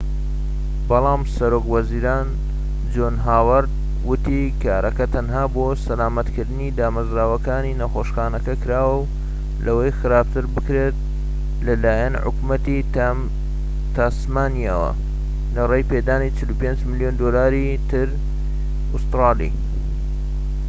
بەلام سەرۆک وەزیران جۆن هاوەرد وتی کارەکە تەنها بۆ سەلامەتکردنی دامەزراوەکانی نەخۆشخانەکە کراوە لەوەی خراپتر بکرێن لەلایەن حکومەتی تاسمانیاوە، لەڕێی پێدانی ٤٥ ملیۆن دۆلاری تری ئوستورالی